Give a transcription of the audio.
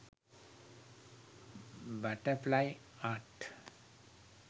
butterfly art